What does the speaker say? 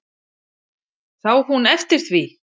Sá hún eftir því?